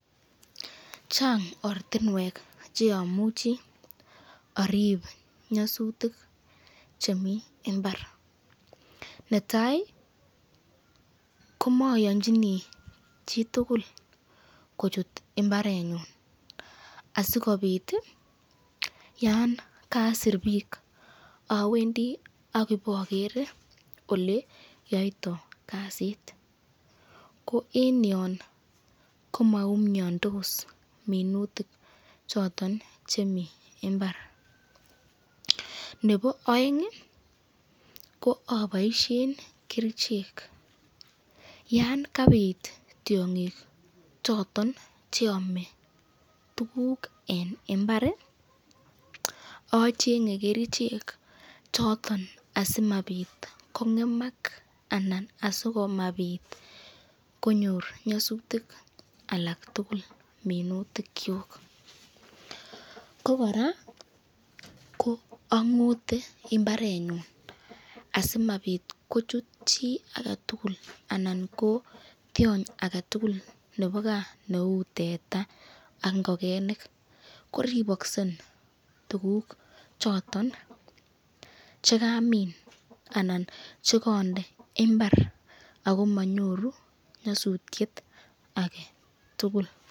Chang ortinwek cheimuchi arib nyasutik chemi mbar, netai komayanchini chitukul kochuto imbarenyun , asikobit yan kasit bik awendi akoboger oleyoiyto kasit, ko eng yon komaumiandos minutik choton chemi imbar, nebo aeng ko aboisyen kerichek, yan kabit tyongik choton cheame tukuk eng imbar achenge kerichek choton asimabit kongemak anan asimabit konyor nyasutik alak tukul minutikyuk, ko koraa ko angote imbarenyun asimabit kochuto chi aketul anan ko tyony aketukul nebo kaa neu teta ak ingokenik ,koriboksen tukuk choton chekamin anan chekande imbar akomanyoru nyasutyet ake tukul.